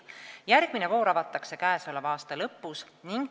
Järgmine voor avatakse käesoleva aasta lõpus.